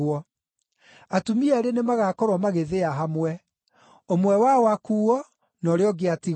Atumia eerĩ nĩmagakorwo magĩthĩa hamwe; ũmwe wao akuuo, na ũrĩa ũngĩ atigwo.